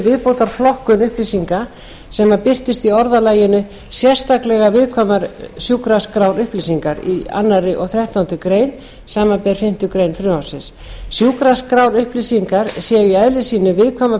viðbótarflokkun upplýsinga sem birtust í orðalagi sérstaklega viðkvæmar sjúkraskrárupplýsingar í öðru og þrettándu greinar samanber fimmtu grein frumvarpsins sjúkraskrárupplýsingar séu í eðli sínu viðkvæmar